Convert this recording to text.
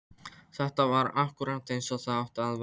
Þetta var akkúrat eins og það átti að vera!